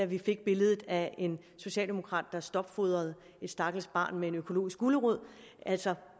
vi fik billedet af en socialdemokrat der stopfodrede et stakkels barn med en økologisk gulerod altså